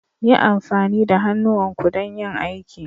Yi amfani da hannuwanku don yin aiki.